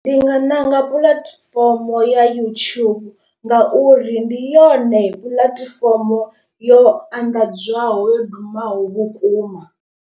Ndi nga ṋanga puḽatifomo ya YouTube ngauri ndi yone puḽatifomo yo anḓadzwaho yo dumaho vhukuma.